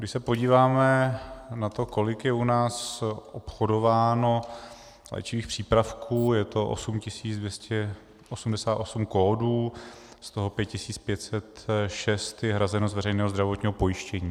Když se podíváme na to, kolik je u nás obchodováno léčivých přípravků, je to 8 288 kódů, z toho 5 506 je hrazeno z veřejného zdravotního pojištění.